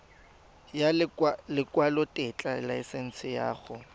ya lekwalotetla laesense ya go